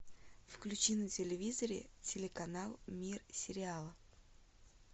включи на телевизоре телеканал мир сериала